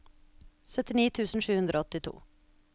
syttini tusen sju hundre og åttito